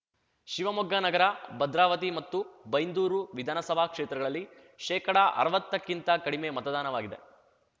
ಶಿವಮೊಗ್ಗ ನಗರ ಭದ್ರಾವತಿ ಮತ್ತು ಬೈಂದೂರು ವಿಧಾನಸಭಾ ಕ್ಷೇತ್ರಗಳಲ್ಲಿ ಶೇಕಡಅರ್ವತ್ತಕ್ಕಿಂತ ಕಡಿಮೆ ಮತದಾನವಾಗಿದೆ